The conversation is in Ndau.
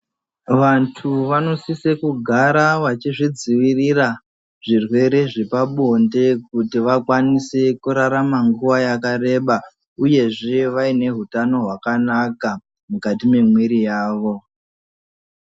Vandu vanosise kugara vachidzivirira zvirwere zvepa blonde kuti vakwanise kurarama nguva yakereba uyezve vaine hutano hwakanaka mukati memuiri yawo.